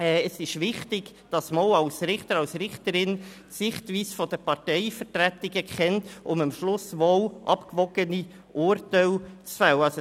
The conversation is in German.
Es ist wichtig, dass man auch als Richter und Richterin die Sichtweise der Parteivertretungen kennt, um am Schluss wohl abgewogene Urteile zu fällen.